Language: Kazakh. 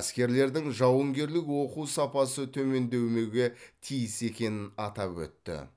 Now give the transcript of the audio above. әскерлердің жауынгерлік оқу сапасы төмендемеуге тиіс екенін атап өтті